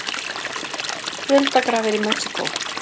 Fjöldagrafir í Mexíkó